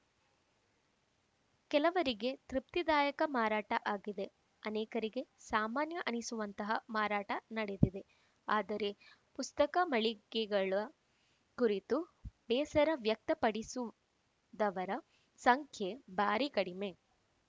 ಕೆಲವರಿಗೆ ತೃಪ್ತಿದಾಯಕ ಮಾರಾಟ ಆಗಿದೆ ಅನೇಕರಿಗೆ ಸಾಮಾನ್ಯ ಅನ್ನಿಸುವಂತಹ ಮಾರಾಟ ನಡೆದಿದೆ ಆದರೆ ಪುಸ್ತಕ ಮಳಿಗೆಗಳ ಕುರಿತು ಬೇಸರ ವ್ಯಕ್ತ ಪಡಿಸಿದವರ ಸಂಖ್ಯೆ ಭಾರಿ ಕಡಿಮೆ